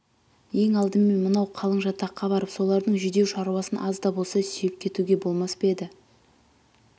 ең алдымен мынау қалың жатаққа барып солардың жүдеу шаруасын аз да болса сүйеп кетуге болмас па еді